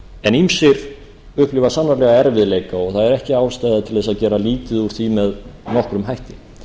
en ýmsir upplifa sannarlega erfiðleika og það er ekki ástæða til að gera lítið úr því sem nokkrum hætti